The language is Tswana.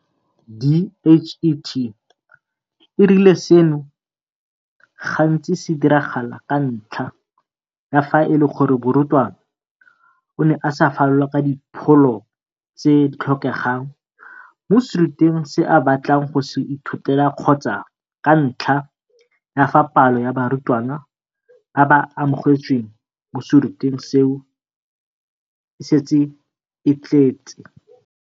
DHET e rile seno gantsi se diragala ka ntlha ya fa e le gore morutwana o ne a sa falola ka dipholo tse di tlhokegang mo serutweng se a batlang go se ithutela kgotsa ka ntlha ya fa palo ya barutwana ba ba amogetsweng mo serutweng seo e setse e tletse.